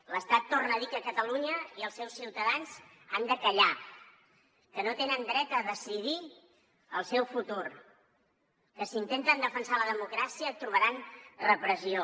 l’estat torna a dir que catalunya i els seus ciutadans han de callar que no tenen dret a decidir el seu futur que si intenten defensar la democràcia trobaran repressió